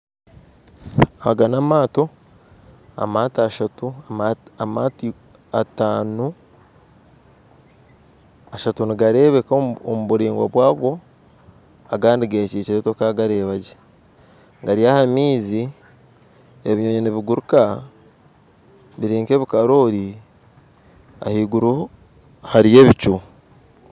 Aga n'amaato, amaato ataano ashatu nigareebeka omu buraingwa bwago agandi gekyikyire tokagareebagye gari aha maizi ebinyoonyi nibiguruuka biri nka ebikaroori ahaiguru hariyo ebicu